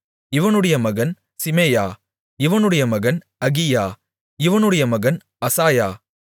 இவனுடைய மகன் சிமெயா இவனுடைய மகன் அகியா இவனுடைய மகன் அசாயா